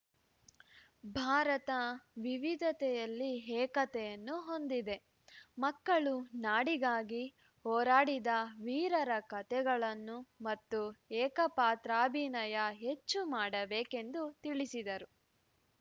ಭಾರತ ವಿವಿಧತೆಯಲ್ಲಿ ಏಕತೆಯನ್ನು ಹೊಂದಿದೆ ಮಕ್ಕಳು ನಾಡಿಗಾಗಿ ಹೊರಾಡಿದ ವೀರರ ಕಥೆಗಳನ್ನು ಮತ್ತು ಏಕಪಾತ್ರಾಭಿನಯ ಹೆಚ್ಚು ಮಾಡಬೇಕೆಂದು ತಿಳಿಸಿದರು